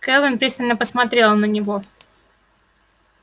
кэлвин пристально посмотрела на него